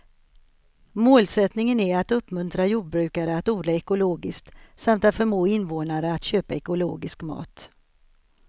Målsättningen är att uppmuntra jordbrukare att odla ekologiskt samt att förmå invånarna att köpa ekologisk mat.